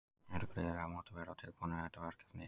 Þær eru gríðarlega mótiveraðar og tilbúnar í þetta verkefni.